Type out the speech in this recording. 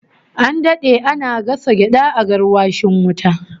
An dade ana gasa gyada a garwashin wuta